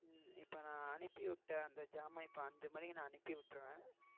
இப்போ நான் அனுப்பிவிட்டு அந்த ஜமான் இப்போ அஞ்சு மணிக்கு நான் அனுப்பி விட்டுருவேன்.